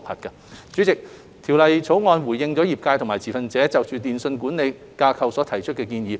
代理主席，《條例草案》回應了業界和持份者就電訊規管架構所提出的建議。